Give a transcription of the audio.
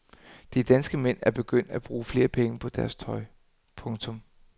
De danske mænd er begyndt at bruge flere penge på deres tøj. punktum